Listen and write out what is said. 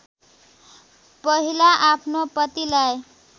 पहिला आफ्नो पतिलाई